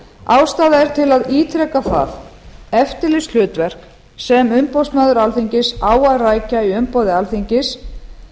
ástæða er til að ítreka að það eftirlitshlutverk sem umboðsmaður alþingis á að rækja í umboði alþingis